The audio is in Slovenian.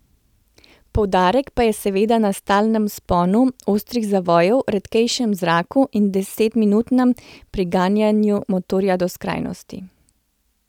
Poudarek pa je seveda na stalnem vzponu, ostrih zavojih, redkejšem zraku in desetminutnemu priganjanju motorja do skrajnosti.